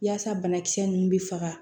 Yaasa banakisɛ nunnu bɛ faga